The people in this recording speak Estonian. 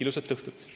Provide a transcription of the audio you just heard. Ilusat õhtut!